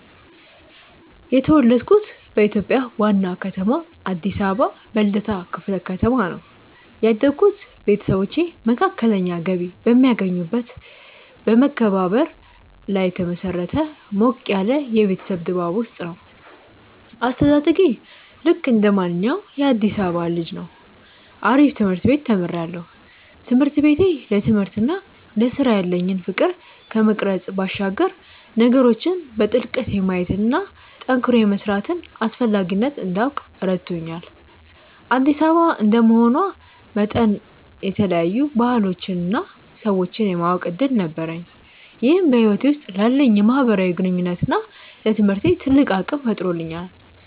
የተወለድኩት በኢትዮጵያ ዋና ከተማ አዲስ አበባ በልደታ ክፍለ ከተማ ነው። ያደግኩት ቤተሰቦቼ መካከለኛ ገቢ በሚያገኙበት በመከባበርና ላይ በተመሰረተ ሞቅ ያለ የቤተሰብ ድባብ ውስጥ ነው። አስተዳደጌ ልክ እንደማንኛውም የአዲሳባ ልጅ ነው አሪፍ ትምርት ቤት ተምሪያለሁ። ትምህርት ቤቴ ለትምህርትና ለስራ ያለኝን ፍቅር ከመቅረጽ ባሻገር ነገሮችን በጥልቀት የማየትና ጠንክሮ የመስራትን አስፈላጊነት እንዳውቅ ረድቶኛል። አዲስ አበባ እንደመሆኗ መጠን የተለያዩ ባህሎችንና ሰዎችን የማወቅ እድል ነበረኝ ይህም በህይወቴ ውስጥ ላለኝ የማህበራዊ ግንኙነትና ለትምህርቴ ትልቅ አቅም ፈጥሮልኛል።